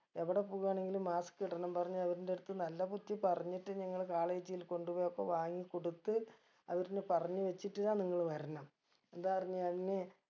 എവിടെ പോകാണെങ്കിലും mask ഇടണം പറഞ്ഞ് അവരിന്റെ അടുത്ത് നല്ല ബുദ്ധി പറഞ്ഞിട്ട് നിങ്ങള് college ൽ കൊണ്ടുപോയൊക്കെ വാങ്ങി കൊടുത്ത് അവരിനെ പറഞ്ഞ് വച്ചിട്ട് ഇതാ നിങ്ങൾ വരണം എന്താ പറഞ്ഞ